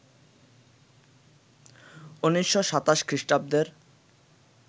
১৯২৭ খ্রিস্টাব্দের